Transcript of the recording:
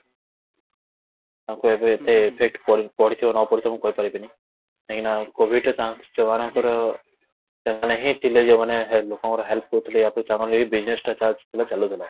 ଆମକୁ ଏବେ ଏତେ effect କରିଥିବ ନ କରିଥିବ ମୁଁ କହିପାରିବିନି, କାହିଁକି ନ covidରେ ଯୋଉ ମାନଙ୍କର ସେମାନେ ହିଁ ଥିଲେ ଯୋଉ ମାନେ ଲୋକଙ୍କର help କରୁଥିଲେ ତାଙ୍କର ଏଇ business ଟା ଥିଲା ଚାଲୁଥିଲା